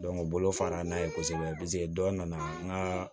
u bolo fara n'a ye kosɛbɛ dɔ nana n ka